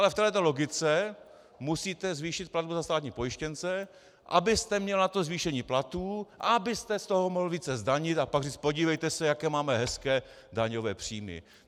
Ale v téhle logice musíte zvýšit platbu za státní pojištěnce, abyste měl na to zvýšení platů, abyste z toho mohl více zdanit a pak říct: Podívejte se, jaké máme hezké daňové příjmy!